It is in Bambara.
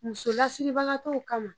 Musolasiribagatɔw kama